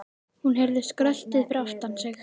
Hún heyrði skröltið fyrir aftan sig.